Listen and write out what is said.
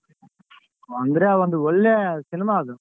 ಅಂದ್ರೆ ಒಂದ್ ಒಳ್ಳೆ cinema ಅದು.